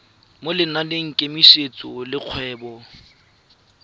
mo lenaneng la kemiso dikgwedi